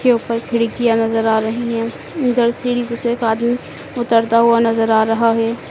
के ऊपर खिड़कियां नज़र आ रही है। उधर सीढ़ी पे से एक आदमी उतरता हुआ नज़र आ रहा है।